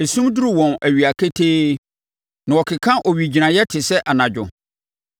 Esum duru wɔn awia ketee; na wɔkeka owigyinaeɛ te sɛ anadwo.